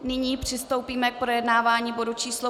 Nyní přistoupíme k projednávání bodu číslo